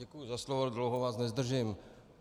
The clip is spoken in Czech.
Děkuji za slovo, dlouho vás nezdržím.